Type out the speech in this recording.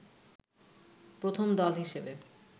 প্রথম দল হিসেবে